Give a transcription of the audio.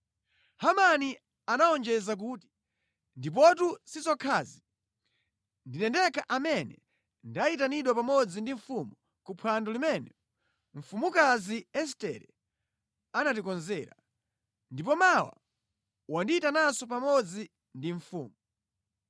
Hamani anawonjeza kuti, “Ndipotu si zokhazi. Ndine ndekha amene ndayitanidwa pamodzi ndi mfumu kuphwando limene mfumukazi Estere anatikonzera. Ndipo mawa wandiyitananso pamodzi ndi mfumu.